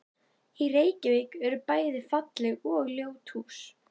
Í Reykjavík eru bæði falleg og ljót hús.